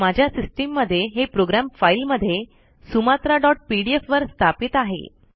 माझ्या सिस्टम मध्ये हे प्रोग्राम फाईल मध्ये sumatraपीडीएफ वर स्थापित आहे